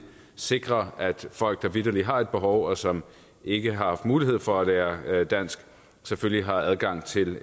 sikrer at folk der vitterlig har et behov og som ikke har haft mulighed for at lære dansk selvfølgelig har adgang til